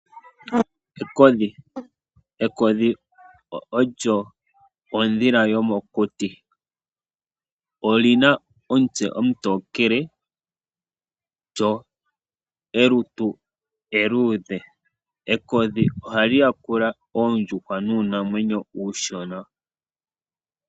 Ekodhi, ekodhi olyo ondhila yomokuti. Oli na omutse omutokele lyo molutu eluudhe, ekodhi ohali yakula oondjuhwa nuunamwenyo uushona.